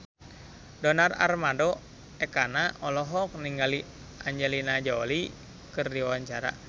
Donar Armando Ekana olohok ningali Angelina Jolie keur diwawancara